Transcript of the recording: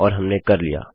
और हमने कर लिया